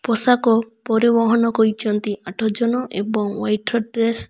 ପେଷାକ ପରିବହନ କରିଛନ୍ତି ଆଠଜଣ ଏବଂ ହ୍ୱାଇଟର ଡ୍ରେସ।